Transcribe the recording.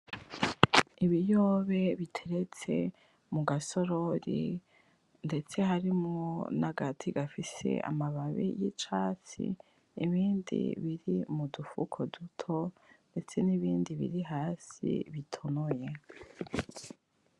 Ibiyobe biteretse mu gasorori ndetse harimwo n'agati gafise amababi y'icatsi, ibindi biri mu dufuko duto ndetse n'ibindi biri hasi bitonoye.